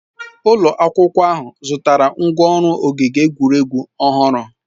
Ụlọ akwụkwọ ahụ zụtara ngwá ọrụ ogige egwuregwu ọhụrụ.